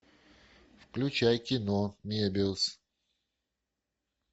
включай кино мебиус